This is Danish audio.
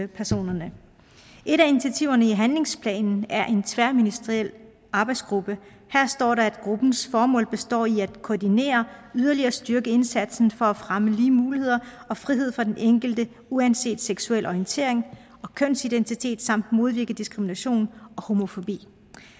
personerne et af initiativerne i handlingsplanen er en tværministeriel arbejdsgruppe her står der at gruppens formål består i at koordinere og yderligere styrke indsatsen for at fremme lige muligheder og frihed for den enkelte uanset seksuel orientering og kønsidentitet samt modvirke diskrimination og homofobi